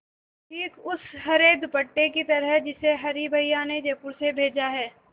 ठीक उस हरे दुपट्टे की तरह जिसे हरी भैया ने जयपुर से भेजा है